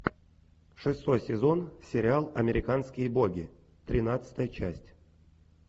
шестой сезон сериал американские боги тринадцатая часть